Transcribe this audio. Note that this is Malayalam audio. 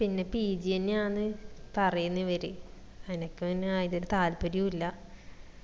പിന്നാ pg അന്നെ ആന്ന് പറയിന്ന് ഇവര് അനക്ക് പിന്നാ അതിന് താൽപ്പര്യോം ഇല്ലാ